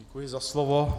Děkuji za slovo.